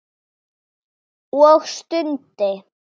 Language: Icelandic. Og stundi.